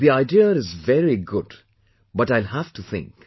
The idea is very good but I will have to think